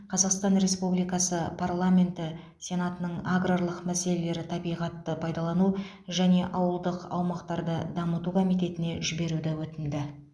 қазақстан республикасы парламенті сенатының аграрлық мәселелер табиғатты пайдалану және ауылдық аумақтарды дамыту комитетіне жіберуді өтінді